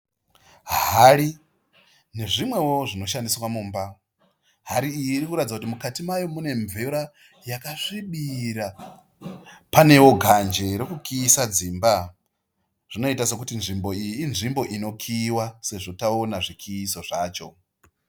Hari nezvimwewo zvinoshandiswa Mumba. Hari iyi irikuratidza kuti mukati mayo mune mvura yakasvibira. Panewo ganje rokukiyisa dzimba. Zvinoita sekuti nzvimbo iyi inzvimbo inokiyiwa sezvo taona zvikiyiso zvacho.